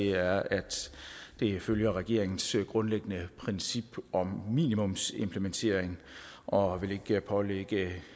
er at det følger regeringens grundlæggende princip om minimumsimplementering og ikke vil pålægge